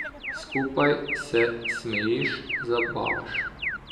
Skupaj se smejiš, zabavaš.